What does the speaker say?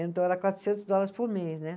Então era quatrocentos dólares por mês, né?